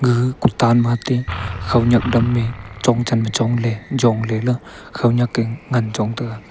a kutan mate khaonyak dam e chongchan ma chong le jong le la khaonyak e ngan chong taga.